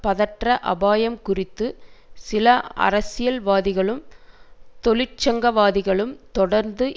பதற்ற அபாயம் குறித்து சில அரசியல்வாதிகளும் தொழிற்சங்கவாதிகளும் தொடர்ந்து